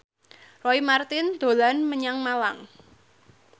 Roy Marten dolan menyang Malang